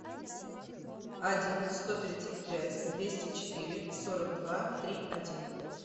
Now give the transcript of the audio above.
один сто тридцать пять двести четыре сорок два три один